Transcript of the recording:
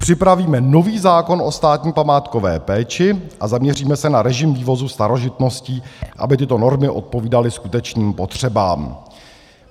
Připravíme nový zákon o státní památkové péči a zaměříme se na režim vývozu starožitností, aby tyto normy odpovídaly skutečným potřebám.